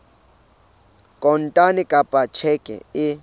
kontane kapa ka tjheke e